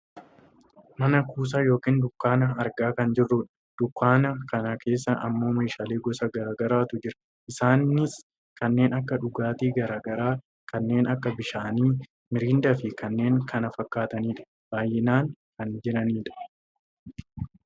Mana kuusaa yookaan dunkaana argaa kan jirrudha. Dunkaana kana keessa ammoo meeshaalee gosa gara garaatu jira. Isaanis kanneen akka dhugaatii gara garaa kanneen akka bishaanii, miriindaafi kanneen kana fakkaatanidha. Baayyinaan kan jiranidha.